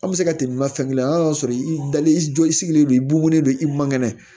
An bɛ se ka tɛmɛ ma fɛn kelen an y'a sɔrɔ i dalen i jɔ i sigilen don i bugunen don i man kɛnɛ